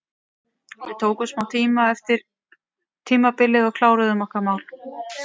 Við tókum smá tíma eftir tímabilið og kláruðum okkar mál.